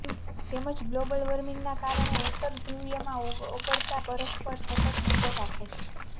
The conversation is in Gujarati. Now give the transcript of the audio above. તેમજ ગ્લોબલ વાર્મિંગને કારણે ઉતરધુવ્રીયમાં ઓગળતા બરફ પર સતત નજર રાખે છે